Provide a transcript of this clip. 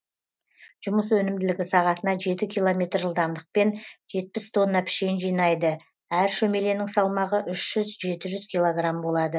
жұмыс өнімділігі сағатына жеті километр жылдамдықпен жетпіс тонна пішен жинайды әр шөмеленің салмағы үш жүз жеті жүз килограмм болады